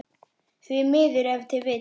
Því miður ef til vill?